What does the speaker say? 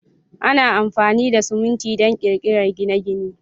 Ana amfani da siminti don ƙirƙirar gine-gine.